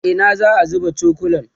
a Ina za'a zuba cokulan?